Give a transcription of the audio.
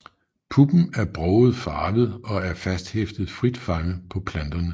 Puppen er broget farvet og er fasthæftet frit fremme på planterne